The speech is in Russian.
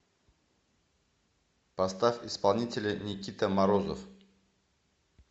поставь исполнителя никита морозов